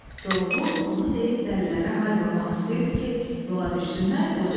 Koroğlu bunu deyib dəllərə hay vurmaq istəyirdi ki, yola düşsünlər, qoca dedi: